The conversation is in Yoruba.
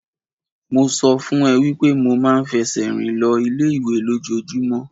Mo sọ fún ẹ wípé mo ma ń fẹsẹ̀ rìn lọ ilé ìwé lójojúmọ́.